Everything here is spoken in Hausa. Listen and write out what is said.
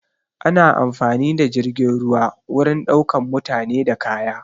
Ana amfani da jirgin ruwa wurin ɗaukan mutane da kaya